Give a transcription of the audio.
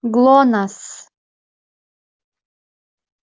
глонассс